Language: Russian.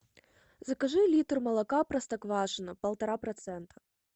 закажи литр молока простоквашино полтора процента